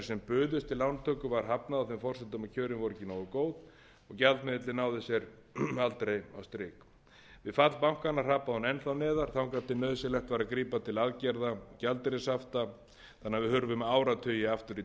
sem buðust til lántöku var hafnað á þeim forsendum að kjörin voru ekki nógu góð og gjaldmiðillinn náði sér aldrei á strik við fall bankanna hrapaði hún enn þá neðar þangað til nauðsynlegt var að grípa til aðgerða gjaldeyrishafta þannig að við hurfum áratugi aftur í